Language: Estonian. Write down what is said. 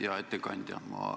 Hea ettekandja!